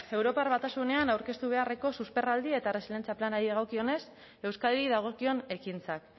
europar batasunean aurkeztu beharreko susperraldia eta erresilientzia planari dagokionez euskadi dagokion ekintzak